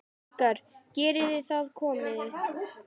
Krakkar geriði það komiði!